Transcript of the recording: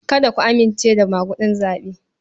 Kada ku amince da maguɗin zaɓe.